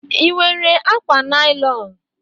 Ị nwere akwa naịlọn?